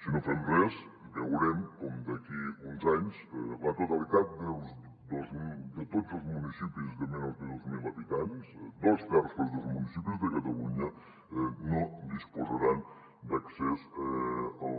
si no fem res veurem com d’aquí a uns anys la totalitat tots els municipis de menys de dos mil habitants dos terços dels municipis de catalunya no disposaran d’accés a